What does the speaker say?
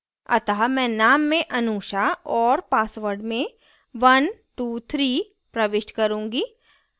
अतः मैं name में anusha और password में 123 प्रविष्ट करुँगी